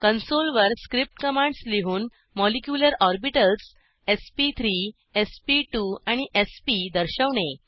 console वर script commands लिहून molecular orbitals SP three SP two and SP दर्शवणे